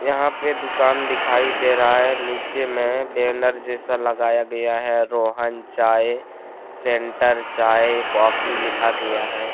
यहां पे दुकान दिखाई दे रहा है। नीचे में बैनर जैसा लगाया गया है रोहन चाय सेंटर चाय कॉफी लिखा गया है।